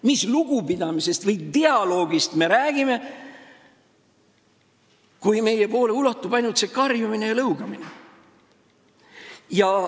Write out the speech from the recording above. Mis lugupidamisest või dialoogist me räägime, kui meieni ulatub ainult karjumine ja lõugamine?